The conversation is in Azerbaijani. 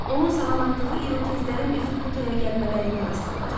Onun salamatdığı irokezlərin üzü butaya gəlmələrindən asılı olacaq.